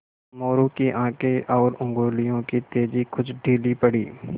मोरू की आँखें और उंगलियों की तेज़ी कुछ ढीली पड़ी